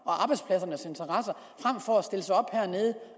og for at stille sig op hernede